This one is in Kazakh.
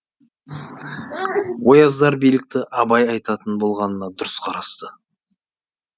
ояздар билікті абай айтатын болғанына дұрыс қарасты